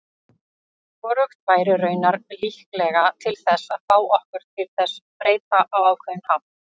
Hvorugt væri raunar líklega til þess að fá okkur til þess breyta á ákveðinn hátt.